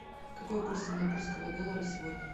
какой курс сингапурского доллара сегодня